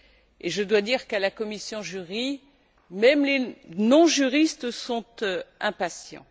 et je dois dire qu'à la commission JURI, même les non juristes sont impatients.